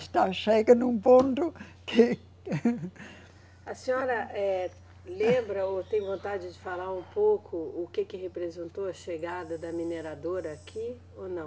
Está chegando um ponto que. A senhora eh, lembra ou tem vontade de falar um pouco o que que representou a chegada da mineradora aqui ou não?